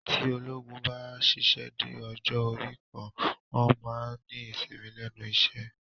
Tí ológun bá ṣíṣe dé ọjọ́ orí kan, wọn a máa ní ìsinmi lẹ́nu iṣẹ́